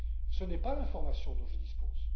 Ce n'est pas l'information dont je dispose.